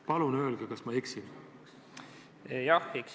Palun öelge, kas ma eksin!